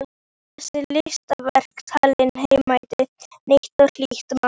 Þessi listaverk tali heilnæmt, nýtt og hlýtt mál.